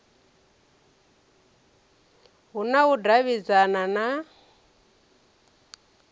hu na u davhidzana na